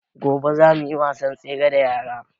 Gobe za mu yi wasan tsere da yaran